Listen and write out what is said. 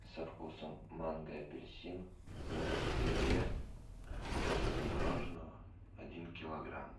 со вкусом манго и апельсин в ведре масса мороженого один килограмм